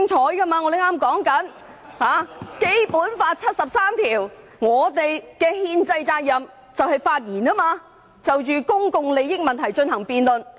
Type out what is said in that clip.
我剛剛說到根據《基本法》第七十三條，我們有憲制責任發言，就公共利益問題進行辯論。